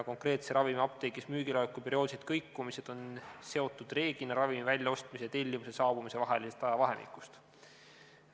Konkreetse ravimi apteegis müügiloleku perioodilised kõikumised on enamasti seotud ravimi väljaostmise ja tellimuse saabumise vahelise ajavahemikuga.